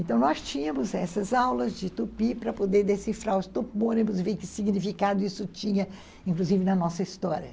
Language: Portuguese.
Então, nós tínhamos essas aulas de tupi para poder decifrar os topônimos e ver que significado isso tinha, inclusive na nossa história.